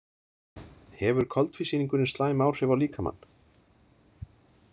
Hefur koltvísýringurinn slæm áhrif á líkamann?